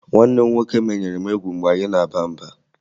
Nwanne m nwoke menyere m egwu mgbe anyị na-aba mba